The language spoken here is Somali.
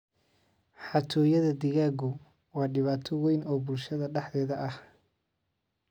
Xatooyada digaaggu waa dhibaato weyn oo bulshada dhexdeeda ah.